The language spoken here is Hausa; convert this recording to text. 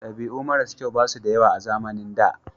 Dabi'u mara kyau basu da yawa a zamanin da